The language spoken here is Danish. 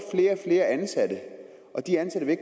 flere ansatte og de ansatte vil